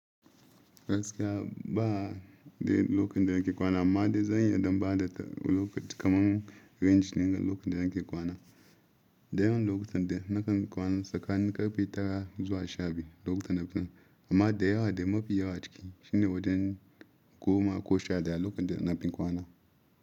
Gaskiya ba de lokacin da nake kwana amma dai zan yi dan bada lokacin kamar range ne na lokacin da nake kwana. Dayawan lokutan da nakan kwana tsakanin karfe tara zuwa sha biyu lokutan da na fi so, amma da yawa da mafi yawa ciki shine wajen goma ko sha daya lokacin da na fi kwana.